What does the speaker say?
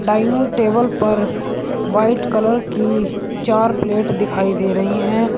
Dining table पर white colour की चार प्लेट दिखाई दे रही है।